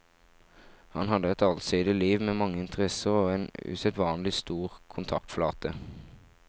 Han hadde et allsidig liv med mange interesser og en usedvanlig stor kontaktflate.